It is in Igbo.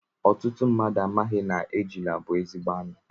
Ọtụtụ mmadụ amaghị na ejula bu ezigbo anụ